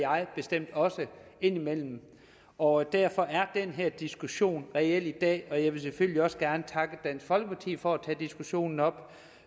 bestemt også indimellem og derfor er den her diskussion reel i dag jeg vil selvfølgelig også gerne takke dansk folkeparti for at tage diskussionen op